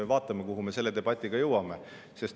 Vaatame, kuhu me selle debatiga jõuame.